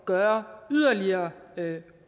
gøre yderligere